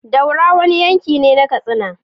Daura wani yankine na katsina